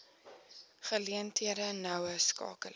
geleenthede noue skakeling